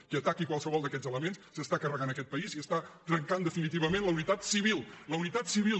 qui ataqui qualsevol d’aquests elements s’està carregant aquest país i està trencant definitivament la unitat civil